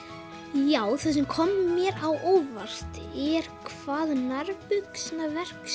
já það sem kom mér á óvart var hvað nærbuxnaverksmiðjan